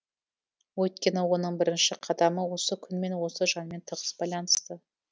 өйткені оның бірінші қадамы осы күнмен осы жанмен тығыз байланысты